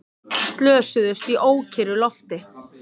Slösuðust í ókyrru lofti